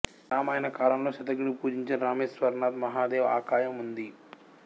రామాయణ కాలంలో శత్రుఙడు పూజించిన రామేశ్వరనాథ్ మహాదేవ్ ఆకయం ఉంది